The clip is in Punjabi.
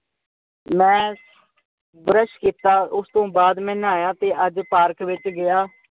ਮੈਂ ਬਰਸ਼ ਕੀਤਾ, ਮੈਂ ਨਹਾਇਆ ਤੇ ਅੱਜ ਮੈਂ ਪਾਰਕ ਵਿੱਚ ਗਿਆ।